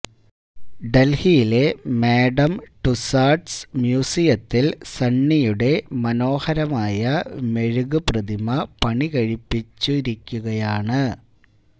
ഡല്ഹിയിലെ Madame Tussauds മ്യൂസിയത്തില് സണ്ണിയുടെ മനോഹരമായ മെഴുകു പ്രതിമ പണികഴിപ്പിച്ചിരിക്കുകയാണ്